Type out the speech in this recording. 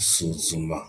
isuzuma.